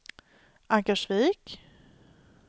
Ankarsvik